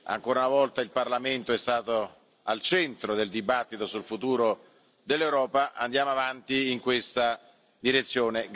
Ancora una volta il Parlamento è stato al centro del dibattito sul futuro dell'Europa, andiamo avanti in questa direzione.